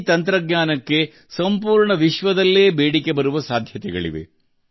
ಈ ತಂತ್ರಜ್ಞಾನಕ್ಕೆ ಪ್ರಪಂಚದಾದ್ಯಂತ ಬೇಡಿಕೆ ಇರುವ ಸಾಧ್ಯತೆ ಇದೆ